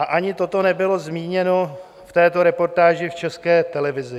A ani toto nebylo zmíněno v této reportáži v České televizi.